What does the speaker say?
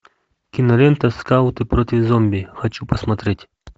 кинолента скауты против зомби хочу посмотреть